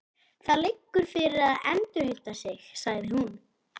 Það liggur fyrir að endurheimta þig, sagði hún.